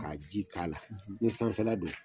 Ka ji k'a la, i sanfɛla don